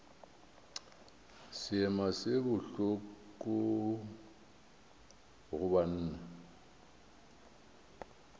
seema se bohloko go banna